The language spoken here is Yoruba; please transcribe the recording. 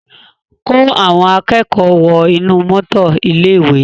Kó àwọn akẹ́kọ̀ọ́ wọ inú mọ́tò ilé-ìwé!